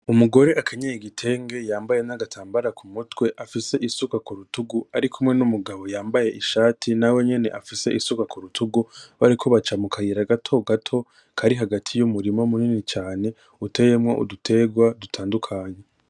Umugore akenyeye igitenge yambaye n'agatambara kumutwe afise isuka kurutungu arikumwe n'umugabo yambaye ishati nawe nyene afise isuka kurutungu, bariko baca mukayira gatogato kari hagati y’umurima munini cane uteyemwo uduterwa dutandukanye.